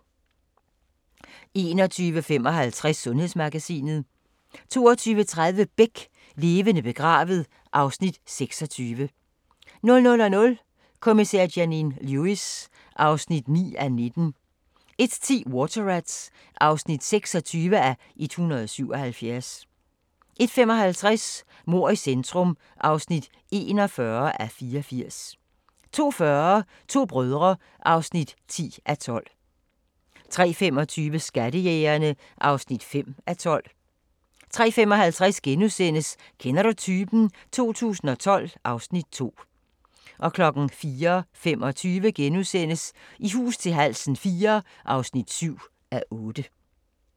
21:55: Sundhedsmagasinet 22:30: Beck: Levende begravet (Afs. 26) 00:00: Kommissær Janine Lewis (9:19) 01:10: Water Rats (26:177) 01:55: Mord i centrum (41:84) 02:40: To brødre (10:12) 03:25: Skattejægerne (5:12) 03:55: Kender du typen? 2012 (Afs. 2)* 04:25: I hus til halsen IV (7:8)*